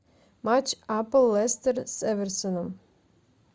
матч апл лестер с эвертоном